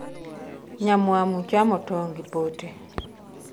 Nyamwamu chamo tong' gi pote